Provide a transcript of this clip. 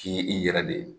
K'i i yɛrɛ de